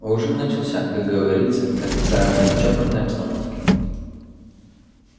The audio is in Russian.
ужин начался как говорится в официальной и чопорной обстановке